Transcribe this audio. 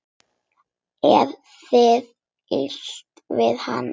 Er þér illa við hana?